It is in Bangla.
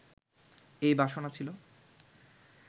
এই বাসনা ছিল